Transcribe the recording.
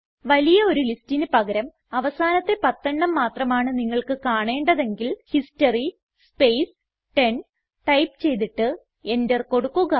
വലിയ ഒരു ലിസ്റ്റിന് പകരം അവസാനത്തെ പത്തെണ്ണം മാത്രമാണ് നിങ്ങൾക്ക് കാണേണ്ടതെങ്കിൽ ഹിസ്റ്ററി സ്പേസ് 10 ടൈപ്പ് ചെയ്തിട്ട് എന്റർ കൊടുക്കുക